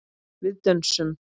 Við dönsum.